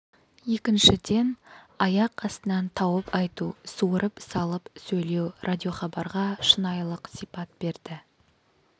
екіншіден аяқ астынан тауып айту суырып салып сөйлеу радиохабарға шынайылық сипат берді